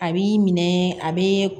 A b'i minɛ a bɛ